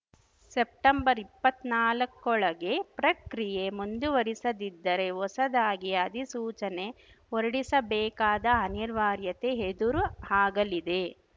ಸೆಪ್ಟೆಂಬರ್ಇಪ್ಪತ್ನಾಲ್ಕ ಒಳಗೆ ಪ್ರಕ್ರಿಯೆ ಮುಂದುವರಿಸದಿದ್ದರೆ ಹೊಸದಾಗಿ ಅಧಿಸೂಚನೆ ಹೊರಡಿಸಬೇಕಾದ ಅನಿರ್ವಾರ್ಯತೆ ಹೆದುರು ಹಾಗಲಿದೆ